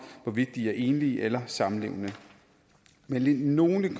hvorvidt de er enlige eller samlevende men i nogle